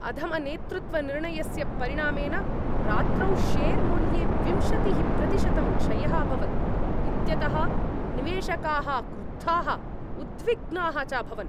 अधमनेतृत्वनिर्णयस्य परिणामेन रात्रौ शेर् मूल्ये विंशतिः प्रतिशतं क्षयः अभवत् इत्यतः निवेशकाः क्रुद्धाः, उद्विग्नाः च अभवन्।